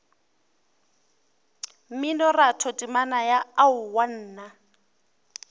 mminoratho temana ya aowa nna